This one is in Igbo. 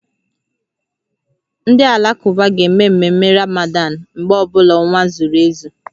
Ndị Alakụba ga-eme ememme Ramadan mgbe ọ bụla ọnwa zuru ezu